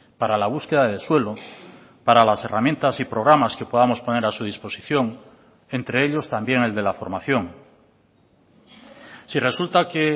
para la búsqueda de suelo para las herramientas y programas que podamos poner a su disposición entre ellos también el de la formación si resulta que